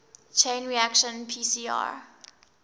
chain reaction pcr